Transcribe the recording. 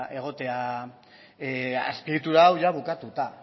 egotea azpi egitura hau jada bukatuta